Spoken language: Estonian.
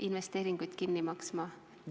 ... investeeringud kinni maksma.